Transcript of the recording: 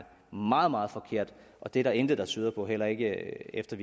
meget meget forkert og det er der intet der tyder på heller ikke efter